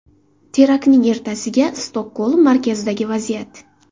Teraktning ertasiga Stokgolm markazidagi vaziyat.